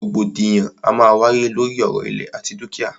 Rògbòdìyàn a máa wáyé lóri ọ̀rọ̀ ìlẹ̀ àti dúkìá.